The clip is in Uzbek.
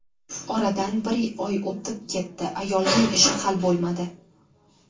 Oradan bir oy o‘tib ketdi: ayolning ishi hal bo‘lmadi.